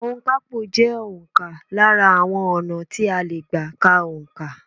Òǹkapò jẹ́ òǹkà lára àwọn ọ̀nà tí a lè gbà ká òǹkà.